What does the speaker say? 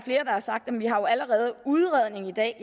har sagt at vi jo allerede har udredning i dag